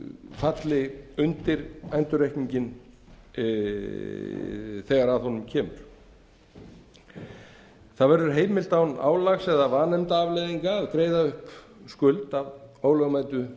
falli undir endurreikninginn þegar að honum kemur það verður heimilt án álags eða vanefndaafleiðinga að greiða upp skuld af